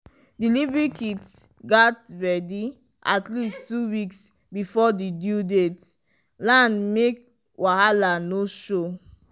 delivery kit gats ready at least two weeks before the due date land make wahala no show.